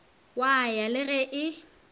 wa ya le ge e